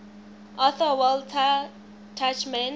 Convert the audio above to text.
author walter tuchman